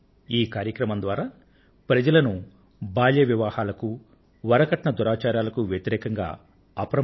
ఈ కార్యక్రమం ద్వారా ప్రజలను బాల్య వివాహాలకు వరకట్న దురాచారాలకు వ్యతిరేకంగా అప్రమత్తులను చేశారు